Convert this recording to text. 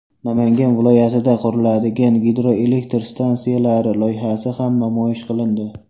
Namangan viloyatida quriladigan gidroelektr stansiyalari loyihasi ham namoyish qilindi.